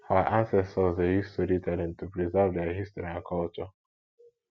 our ancestors dey use storytelling to preserve their history and culture